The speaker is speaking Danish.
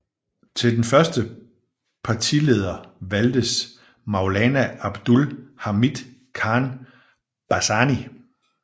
Til den første partileder valgtes Maulana Abdul Hamid Khan Bhasani